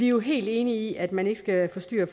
jo helt enige i at man ikke skal forstyrre